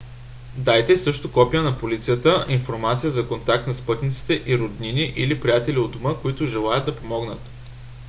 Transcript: дайте също копия на полицата/информация за контакт на спътниците и роднини или приятели у дома които желаят да помогнат